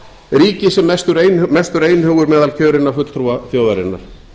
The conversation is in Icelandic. ríki sem mestur einhugur meðal kjörinna fulltrúa þjóðarinnar